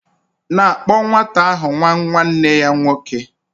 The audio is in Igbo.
...na akpo nwata ahu nwa nwa nee ya nwoke